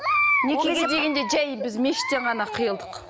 некеге дегенде жай біз мешіттен ғана қиылдық